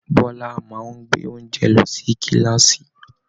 Bọla máa n gbé oúnjẹ lọ sí kilaasi.